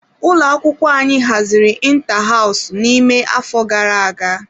Ụlọ akwụkwọ anyị haziri inta hows n'ime afọ gara aga.